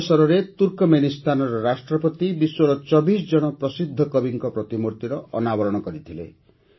ଏହି ଅବସରରେ ତୁର୍କମେନିସ୍ତାନର ରାଷ୍ଟ୍ରପତି ବିଶ୍ୱର ୨୪ ଜଣ ପ୍ରସିଦ୍ଧ କବିଙ୍କ ପ୍ରତିମୂର୍ତ୍ତିର ଅନାବରଣ କରିଥିଲେ